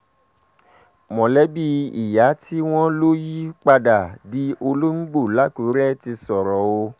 mọ̀lẹ́bí ìyá tí wọ́n lọ yípadà di òlòǹgbò làkùrẹ́ ti sọ̀rọ̀ o